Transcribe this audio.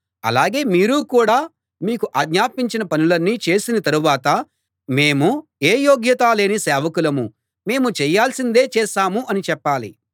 అలాగే మీరు కూడా మీకు ఆజ్ఞాపించిన పనులన్నీ చేసిన తరువాత మేము ఏ యోగ్యతా లేని సేవకులం మేము చేయాల్సిందే చేశాం అని చెప్పాలి